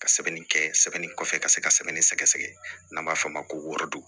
Ka sɛbɛnni kɛ sɛbɛnni kɔfɛ ka se ka sɛbɛnni sɛgɛsɛgɛ n'an b'a f'o ma ko wɔrɔdon